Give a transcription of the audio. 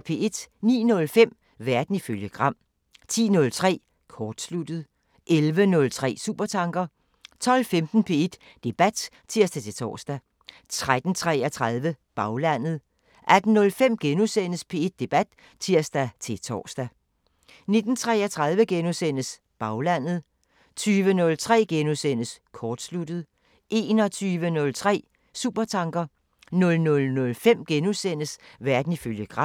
09:05: Verden ifølge Gram 10:03: Kortsluttet 11:03: Supertanker 12:15: P1 Debat (tir-tor) 13:33: Baglandet 18:05: P1 Debat *(tir-tor) 19:33: Baglandet * 20:03: Kortsluttet * 21:03: Supertanker 00:05: Verden ifølge Gram *